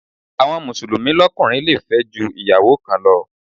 Àwọn Mùsùlùmí lókùnrin le fẹ́ ju Ìyàwó kan lọ.